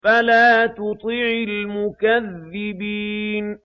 فَلَا تُطِعِ الْمُكَذِّبِينَ